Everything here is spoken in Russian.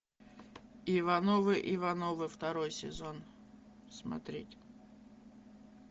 ивановы ивановы второй сезон смотреть